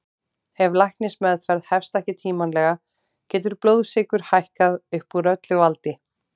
Ef læknismeðferð hefst ekki tímanlega getur blóðsykur hækkað upp úr öllu valdi.